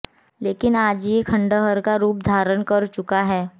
लेकिन आज ये खंडहर का रुप धारण कर चुका है